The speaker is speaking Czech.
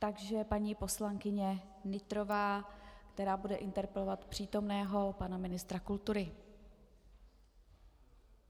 Takže paní poslankyně Nytrová, která bude interpelovat přítomného pana ministra kultury.